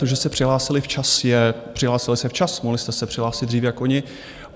To, že se přihlásili včas, je - přihlásili se včas, mohli jste se přihlásit dřív jak oni.